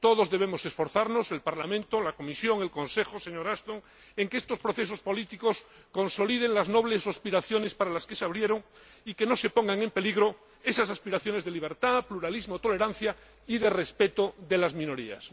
Todos debemos esforzarnos el Parlamento, la Comisión, el Consejo señora Ashton, por que estos procesos políticos consoliden las nobles aspiraciones para las que se abrieron, y que no se pongan en peligro esas aspiraciones de libertad, pluralismo, tolerancia y respeto de las minorías.